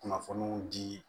Kunnafoniw di